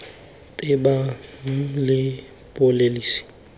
tebang le pholesi mme di